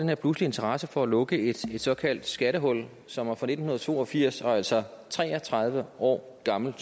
her pludselige interesse for at lukke et såkaldt skattehul som er fra nitten to og firs og altså tre og tredive år gammelt